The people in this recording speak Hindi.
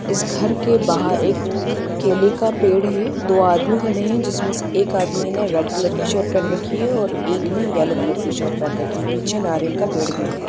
इस घर के बाहर एक केले का पेड़ है दो आदमी खड़े है जिसमे से एक आदमी ने रेड कलर की शर्ट पहन रखी है और एक ने येलो कलर की शर्ट पहन रखी है पीछे नरीयल का पैड भी है।